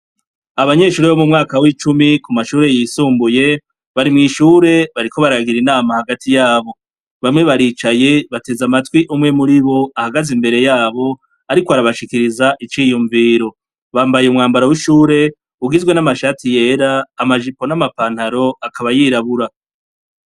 Abanyeshuri bo mu mwaka w'icumi ku mashure yisumbuye bari mw'ishure bariko baragira inama hagati yabo bamwe baricaye bateze amatwi umwe muri bo ahagaze imbere yabo, ariko arabashikiriza iciyumviro bambaye umwambaro w'ishure ugizwe n'amashati yera amajipo n'amapantaro akaba yirabura.